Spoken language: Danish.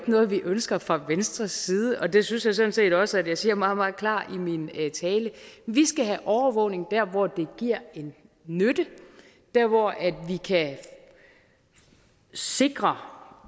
noget vi ønsker fra venstres side og det synes jeg sådan set også jeg sagde meget meget klart i min tale vi skal have overvågning dér hvor det nytter dér hvor vi kan sikre